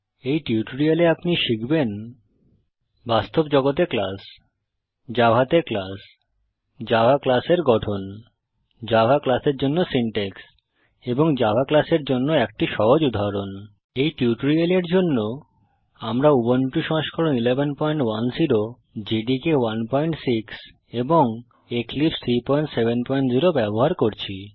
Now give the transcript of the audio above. এই টিউটোরিয়ালে আপনি শিখবেন বাস্তব জগতে ক্লাস জাভাতে ক্লাস জাভা ক্লাস এর গঠন জাভা ক্লাস এর জন্য সিনট্যাক্স এবং জাভা ক্লাস এর একটি সহজ উদাহরণ এই টিউটোরিয়ালের জন্য আমরা উবুন্টু সংস্করণ 1110 জেডিকে 16 এবং এক্লিপসে 370 ব্যবহার করছি